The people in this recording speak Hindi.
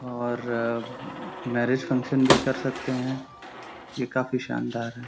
और मैरिज फंक्शन भी कर सकते हैं। ये काफी शानदार है।